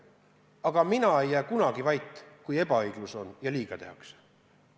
Mina ei jää kunagi vait, kui olukord on ebaõiglane ja tehakse liiga.